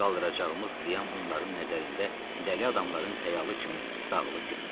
Qaldıracağımız qiyam onların nəzərində dəli adamların xəyalı kimi dağılıb getdi.